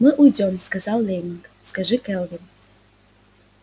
мы уйдём сказал лэннинг скажи кэлвин